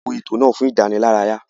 A wo ètò náà fún ìdánilárayá.